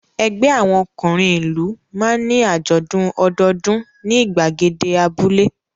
Ẹgbẹ́ àwọn ọkùnrin ìlú máa ń ní àjọ̀dún ọdọọdún ní ìgbàgede abúlé.